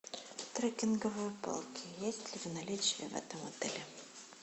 трекинговые палки есть ли в наличии в этом отеле